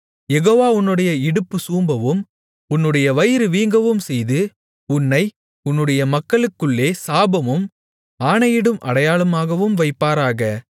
யெகோவா உன்னுடைய இடுப்பு சூம்பவும் உன்னுடைய வயிறு வீங்கவும்செய்து உன்னை உன்னுடைய மக்களுக்குள்ளே சாபமும் ஆணையிடும் அடையாளமாகவும் வைப்பாராக